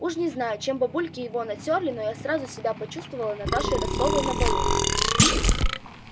уж не знаю чем бабульки его натёрли но я сразу себя почувствовала наташей ростовой на балу